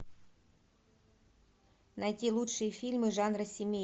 найти лучшие фильмы жанра семейный